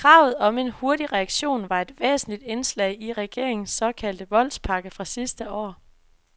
Kravet om en hurtig reaktion var et væsentligt indslag i regeringens såkaldte voldspakke fra sidste år.